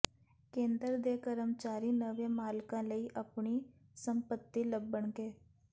ਕੇਂਦਰ ਦੇ ਕਰਮਚਾਰੀ ਨਵੇਂ ਮਾਲਕਾਂ ਲਈ ਆਪਣੀ ਸੰਪਤੀ ਲੱਭਣਗੇ